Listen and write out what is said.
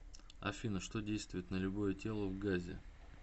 афина что действует на любое тело в газе